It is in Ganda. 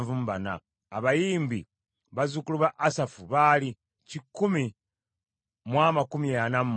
Abayimbi: bazzukulu ba Asafu baali kikumi mu amakumi ana mu munaana (148).